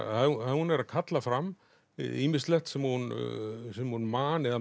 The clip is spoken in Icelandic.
hún er að kalla fram ýmislegt sem hún sem hún man eða